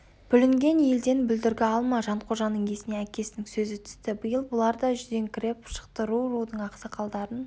бүлінген елден бүлдіргі алма жанқожаның есіне әкесінің сөзі түсті биыл бұлар да жүдеңкіреп шықты ру-рудың ақсақалдарын